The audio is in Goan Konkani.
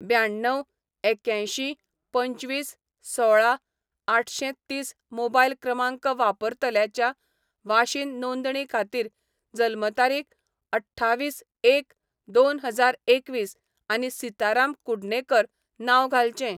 ब्याण्णव एक्यांयशीं पंचवीस सोळा आठशेंतीस मोबायल क्रमांक वापरतल्याच्या वाशीन नोंदणी खातीर जल्म तारीख अठ्ठावीस एक दोन हजार एकवीस आनी सीताराम कुडणेकर नांव घालचें.